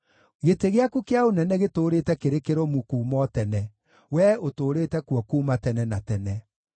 Gĩtĩ gĩaku kĩa ũnene gĩtũũrĩte kĩrĩ kĩrũmu kuuma o tene; wee ũtũũrĩte kuo kuuma tene na tene.